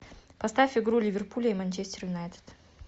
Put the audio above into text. поставь игру ливерпуля и манчестер юнайтед